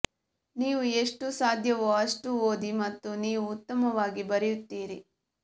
ನೀವು ಎಷ್ಟು ಸಾಧ್ಯವೋ ಅಷ್ಟು ಓದಿ ಮತ್ತು ನೀವು ಉತ್ತಮವಾಗಿ ಬರೆಯುತ್ತೀರಿ